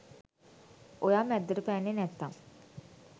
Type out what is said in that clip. ඔයා මැද්දට පැන්නෙ නැත්තං